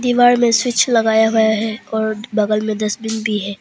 दीवार में स्विच लगाया गया है और बगल मे डस्टबिन भी है।